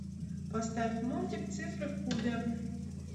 поставь мультик цифры в кубе